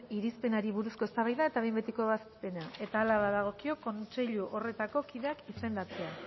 irizpenari buruzko eztabaida eta behin betiko ebazpena eta hala badagokio kontseilu horretako kideak izendatzea